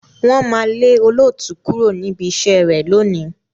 Wọ́n máa lé olóòtú kúrò níbi iṣẹ́ rẹ̀ lónìí.